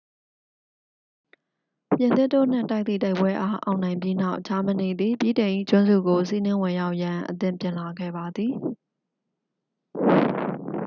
ပြင်သစ်တို့နှင့် တိုက်သည့် တိုက်ပွဲအား အောင်နိုင်ပြီးနောက် ဂျာမနီသည် ဗြိတိန်၏ကျွန်းစုကို စီးနင်းဝင်ရောက်ရန် အသင့်ပြင်လာခဲ့ပါသည်